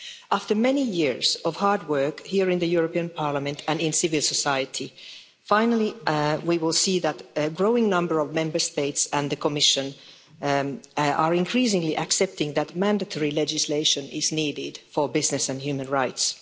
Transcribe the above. After many years of hard work here in the European Parliament and in civil society, finally, we will see that a growing number of Member States and the Commission are increasingly accepting that mandatory legislation is needed for business and human rights.